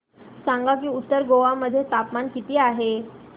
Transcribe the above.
सांगा की उत्तर गोवा मध्ये तापमान किती आहे